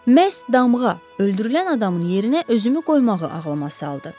Məhz damğa öldürülən adamın yerinə özümü qoymağı ağlıma saldı.